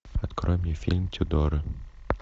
открой мне фильм тюдоры